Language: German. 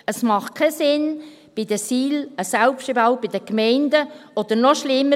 Es macht keinen Sinn, bei den SIL einen Selbstbehalt für die Gemeinden – oder noch schlimmer: